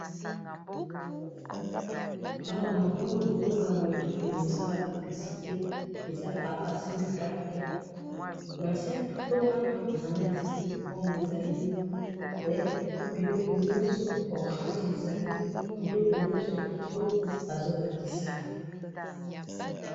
Awa namoni loboko ya moto, ezo sala publicité. Asimbi carton. Na se ya carton Wana, ananas ezali, pomme ezali, biloko nyonso, orange ezali, biloko nyonso ya kitoko azolakisa.